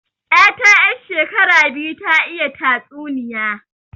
'Yata 'yar shekara biyu ta iya tatsuniya